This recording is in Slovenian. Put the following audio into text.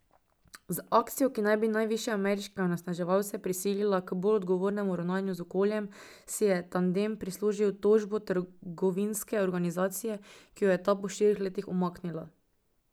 Z akcijo, ki naj bi največje ameriške onesnaževalce prisilila k bolj odgovornemu ravnanju z okoljem, si je tandem prislužil tožbo trgovinske organizacije, ki jo je ta po štirih letih umaknila.